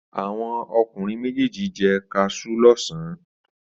Àwọn ọkùnrin méjèèjì jẹ kaṣú lọ́sàn-án.